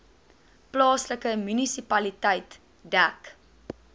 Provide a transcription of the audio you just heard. plaaslike munisipaliteit dek